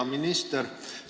Hea minister!